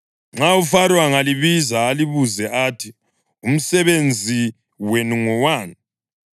Nxa uFaro angalibiza alibuze athi, ‘Umsebenzi wenu ngowani?’